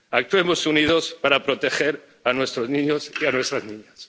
Actuemos unidos para proteger a nuestros niños y a nuestras niñas.